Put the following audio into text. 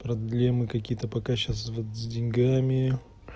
проблемы какие-то пока сейчас вот с деньгами